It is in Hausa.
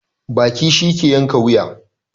Baki shi ke yanka wuya